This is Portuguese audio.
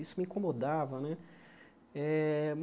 Isso me incomodava né. Eh